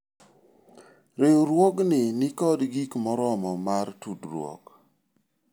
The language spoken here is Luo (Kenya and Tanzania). riwruogni nikod gik moromo mar tudruok